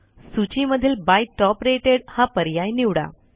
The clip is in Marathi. सूची मधील बाय टॉप रेटेड हा पर्याय निवडा